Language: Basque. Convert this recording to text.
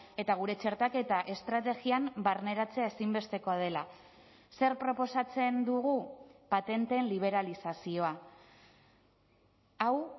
eta gure txertaketa estrategian barneratzea ezinbestekoa dela zer proposatzen dugu patenteen liberalizazioa hau